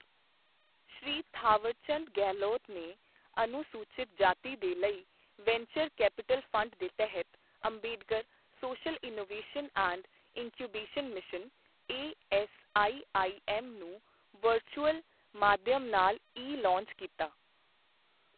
ਸ਼੍ਰੀ ਥਾਵਰਚੰਦ ਗਹਿਲੋਤ ਨੇ ਅਨੁਸੂਚਿਤ ਜਾਤੀ ਦੇ ਲਈ ਵੈਂਚਰ ਕੈਪੀਟਲ ਫ਼ੰਡ ਦੇ ਤਹਿਤ Ambedkar social innovation and incubation mission ASIIM ਨੂੰ ਵਰਚੁਅਲ ਮਾਧਿਅਮ ਨਾਲ ਈ ਲਾਂਚ ਕੀਤਾ